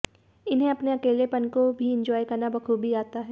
इन्हें अपने अकेलेपन को भी एन्जॉय करना बखूबी आता है